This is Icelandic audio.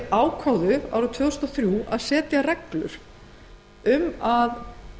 ákváðu árið tvö þúsund og þrjú að setja reglur um að